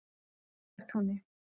Laugartúni